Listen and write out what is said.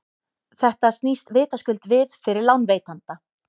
þetta snýst vitaskuld við fyrir lánveitanda